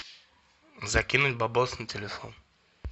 закинуть бабосы на телефон